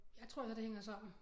Jeg tror altså det hænger sammen